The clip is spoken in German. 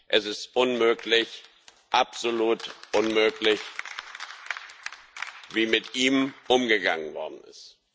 Es ist unmöglich, absolut unmöglich, wie mit ihm umgegangen worden ist.